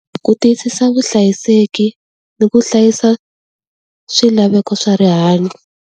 Ku tiyisisa vuhlayiseki, ni ku hlayisa swilaveko swa rihanyo.